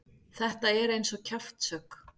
Þetta er eins og kjaftshögg.